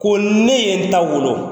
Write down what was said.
Ko ne ye n ta wolo.